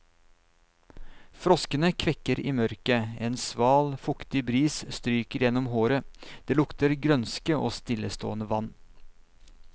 Froskene kvekker i mørket, en sval, fuktig bris stryker gjennom håret, det lukter grønske og stillestående vann.